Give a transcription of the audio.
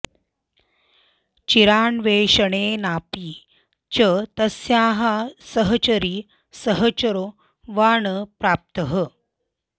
चिरान्वेषणेनापि च तस्याः सहचरी सहचरो वा न प्राप्तः